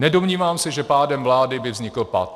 Nedomnívám se, že pádem vlády by vznikl pat.